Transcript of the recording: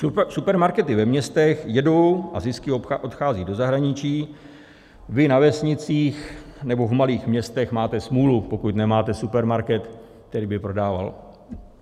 Supermarkety ve městech jedou a zisky odcházejí do zahraničí, vy na vesnicích nebo v malých městech máte smůlu, pokud nemáte supermarket, který by prodával.